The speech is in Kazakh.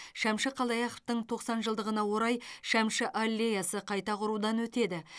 шәмші қалдаяқовтың тоқсан жылдығына орай шәмші аллеясы қайта құрудан өтеді